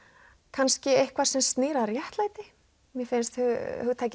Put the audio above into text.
kannski eitthvað sem snýr að réttlæti mér finnst hugtakið